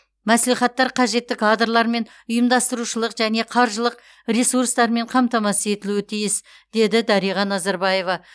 мәслихаттар қажетті кадрлармен ұйымдастырушылық және қаржылық ресурстармен қамтамасыз етілуі тиіс деді дариға назарбаева